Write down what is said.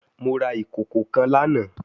Mo ra ikoko kan lana